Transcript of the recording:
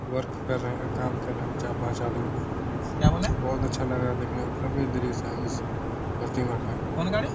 work कर रहे हैं काम कर रहे हैं चार-पाँच आदमी क्या बोले बहुत अच्छा लग रहा है देखने में भव्य दृश्य है इस प्रतिमा का कौन गाड़ी --